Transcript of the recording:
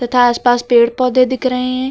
तथा आसपास पेड़ पौधे दिख रहे हैं।